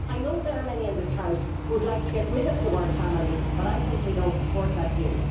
I know there are many in this House who would like to get rid of the word family' but I simply do not support that view.